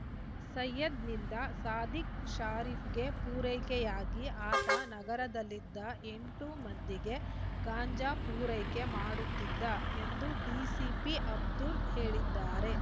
ಸಯ್ಯದ್‌ನಿಂದ ಸಾದಿಕ್‌ ಶರೀಫ್‌ಗೆ ಪೂರೈಕೆಯಾಗಿ ಆತ ನಗರದಲ್ಲಿದ್ದ ಎಂಟು ಮಂದಿಗೆ ಗಾಂಜಾ ಪೂರೈಕೆ ಮಾಡುತ್ತಿದ್ದ ಎಂದು ಡಿಸಿಪಿ ಅಬ್ದುಲ್‌ ಹೇಳಿದ್ದಾರೆ